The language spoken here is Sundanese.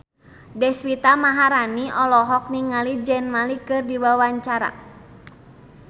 Deswita Maharani olohok ningali Zayn Malik keur diwawancara